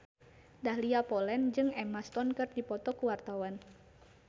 Dahlia Poland jeung Emma Stone keur dipoto ku wartawan